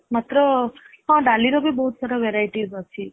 ମାତ୍ର ହଁ ଡାଲି ର ବି ବହୁତ ସାରା varieties ଅଛି